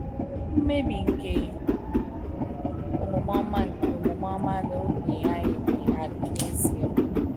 mmebi nke omume ọma nke omume ọma n’oge anyị dị adị n’ezie.